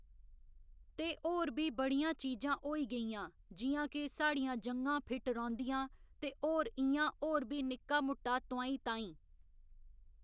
तो होर बी बड़ियां चीजां होई गेइयां जि'यां कि साढ़ियां ज'ङा फिट रौंह्‌दियां ते होर इ'यां होर बी निक्का मुट्टा तोहाईं ताहीं